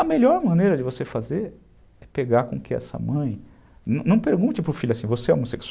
A melhor maneira de você fazer é pegar com que essa mãe... Não pergunte para o filho assim, você é homosse